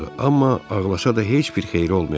Amma ağlasa da heç bir xeyri olmayacaqdı.